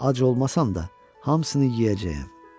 Ac olmasan da, hamısını yeyəcəyəm.